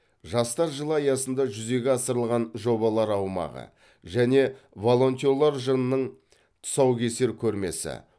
жастар жылы аясында жүзеге асырылған жобалар аумағы және волонтерлер жылының тұсаукесер көрмесі